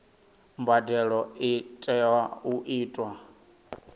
mbadelo i tea u itwa